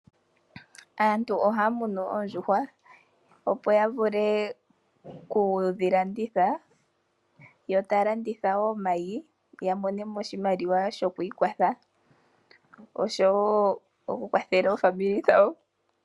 Aantu ohaya munu oondjuhwa opo ya vule oku dhi landitha, yo taya landitha wo omayi ya monemo oshimaliwa shokwiikwatha oshowo okukwathela omazimo gawo.